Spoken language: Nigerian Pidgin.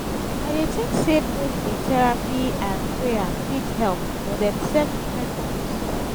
i dey think say both di therapy and prayer fit help but dem serve different purposes.